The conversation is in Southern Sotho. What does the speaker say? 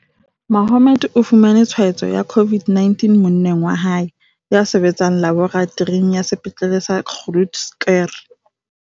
Mohammed o fumane tshwaetso ya COVID-19 mo-nneng wa hae, ya sebetsang laboratoring ya Sepetlele sa Groote Schuur.